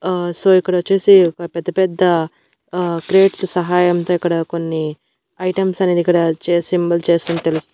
ఆ సో ఇక్కడొచ్చేసి ఒక పెద్ద పెద్ద ఆ క్రేట్స్ సహాయం తో ఇక్కడ కొన్ని ఐటమ్స్ అనేది ఇక్కడ చేసి చేస్తున తెలుస్.